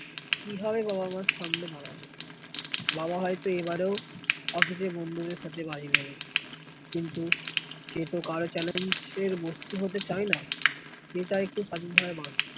কি হবে বাবা-মার সামনে দাঁড়াবে, বাবা হয়তো এবারও office এ বন্ধুদের সাথে বাড়ি , কিন্তু সেতো কারো চ্যালেঞ্জের মুক্ত হতে চাই না